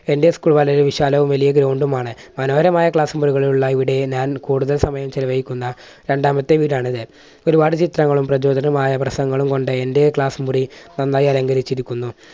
എൻറെ school വളരെ വിശാലവും വലിയ ground ആണ്. മനോഹരമായ class മുറികളിലുള്ള ഇവിടെ ഞാൻ കൂടുതൽ സമയം ചെലവഴിക്കുന്ന രണ്ടാമത്തെ വീടാണിത്. ഒരുപാട് ചിത്രങ്ങളും പ്രചോദനമായ പ്രസംഗങ്ങളും കൊണ്ട് എൻറെ class മുറി നന്നായി അലങ്കരിച്ചിരിക്കുന്നു.